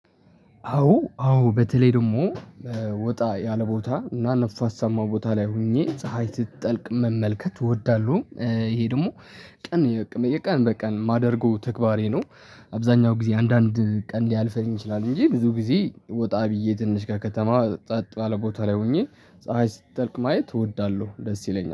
አዎ አዎ በተለይ ደግሞ ወጣ ያለ ቦታ እና ንፋሳማ ቦታ ላይ ሆኜ ፀሀይ ስትጠልቅ መመልከት እወዳለሁ። ይሄ ደግሞ ቀን በቀን በቀን ማደርገው ተግባሬ ነው። አብዛኛው ጊዜ አንዳንድ ቀን ሊያልፈኝ ይችላል እንጂ ብዙ ጊዜ ወጣ ብዬ ትንሽ ከከተማ ጸጥ ባለ ቦታ ላይ ሆኜ ፀሀይ ስትጠልቅ ማየት እወዳለሁ። ደስ ይለኛል